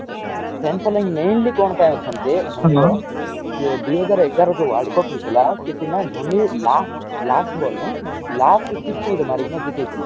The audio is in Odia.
mentioning mainly କଣପାଇଁ ଅଛନ୍ତି ଯେ ଦୁଇ ହଜାର ଏଗାର ଯୋଉ world cup ହେଇଥିଲା ସେଇଠି ନା ଧୋନୀ last, last ball ନାଇ। last six ଗୋଟେ ମାରିକିନା ଜିତେଇ ଥିଲା।